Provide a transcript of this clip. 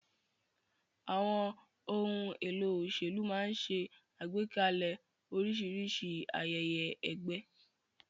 Àwọn ohun èlò òṣèlú máa ń ṣe àgbékalẹ̀ oríṣiríṣi ayẹyẹ ẹgbẹ́.